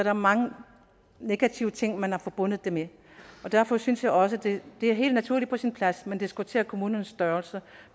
er mange negative ting man har forbundet det med derfor synes jeg også det er helt naturligt og på sin plads at man diskuterer kommunernes størrelse